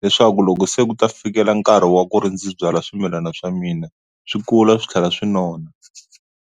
leswaku loko se ku ta fikela nkarhi wa ku ri ndzi byala swimilana swa mina swi kula swi tlhela swi nona.